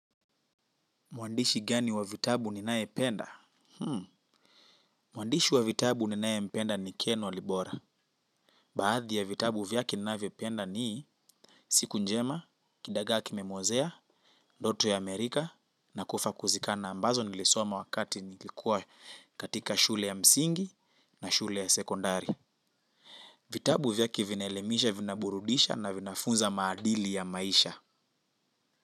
Mwandishi gani wa vitabu ninayependa? Mwandishi wa vitabu ninayempenda ni Ken Walibora. Baadhi ya vitabu vyake ninavyopenda ni siku njema, kidagaa kimemwozea, ndoto ya Amerika, na kufa kuzikana ambazo nilisoma wakati nilikua katika shule ya msingi na shule ya sekondari. Vitabu vyake vinaelimisha, vinaburudisha na vinafunza maadili ya maisha.